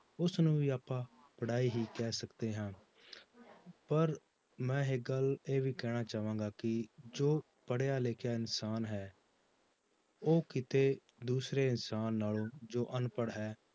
ਉਸਨੂੰ ਵੀ ਆਪਾਂ ਪੜ੍ਹਾਈ ਹੀ ਕਹਿ ਸਕਦੇ ਹਾਂ ਪਰ ਮੈਂ ਇੱਕ ਗੱਲ ਇਹ ਵੀ ਕਹਿਣਾ ਚਾਹਾਂਗਾ ਕਿ ਜੋ ਪੜ੍ਹਿਆ ਲਿਖਿਆ ਇਨਸਾਨ ਹੈ ਉਹ ਕਿਤੇ ਦੂਸਰੇ ਇਨਸਾਨ ਨਾਲੋਂ ਜੋ ਅਨਪੜ੍ਹ ਹੈ